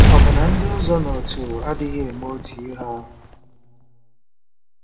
“Ọ̀ bụ na ndị ụzọnaụtụ adịghị eme otu ihe ahụ?